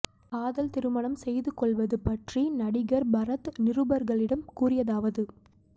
காதல் திருமணம் செய்து கொள்வது பற்றி நடிகர் பரத் நிருபர்களிடம் கூறியதாவது